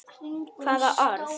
Hvaða orð?